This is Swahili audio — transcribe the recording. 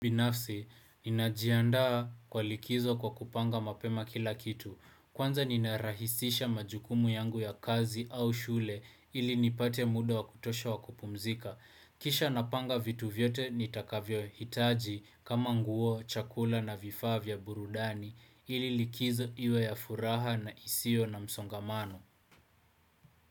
Binafsi, ninajiandaa kwa likizo kwa kupanga mapema kila kitu. Kwanza ninarahisisha majukumu yangu ya kazi au shule ili nipate muda wa kutosha wa kupumzika. Kisha napanga vitu vyote nitakavyohitaji kama nguo, chakula na vifaa vya burudani ili likizo iwe ya furaha na isio na msongamano.